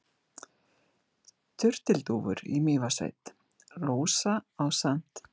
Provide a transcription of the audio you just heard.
Turtildúfur í Mývatnssveit: Rósa ásamt